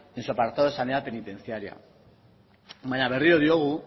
en su apartado sanidad penitenciaria baina berriro diogu